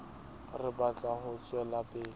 re batla ho tswela pele